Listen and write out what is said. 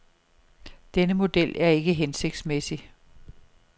Denne model er ikke hensigtsmæssig.